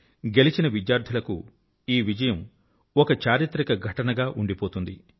గెలిచిన విద్యార్థుల కు ఈ విజయం ఒక చారిత్రక ఘటన గా ఉండిపోతుంది